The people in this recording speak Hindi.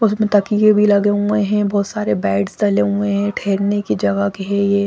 उसमे तकिये भी लगे हुए है बहुत सारे बेड्स डले हुए है ठहरने की जगह के है ये।